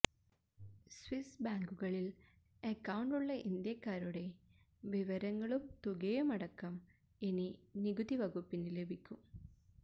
Swiss ബാങ്കുകളില് അക്കൌണ്ടുള്ള ഇന്ത്യക്കാരുടെ വിവരങ്ങളും തുകയും അടക്കം ഇനി നികുതി വകുപ്പിന് ലഭിക്കും